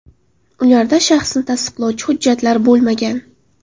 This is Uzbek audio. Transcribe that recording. Ularda shaxsni tasdiqlovchi hujjatlar bo‘lmagan.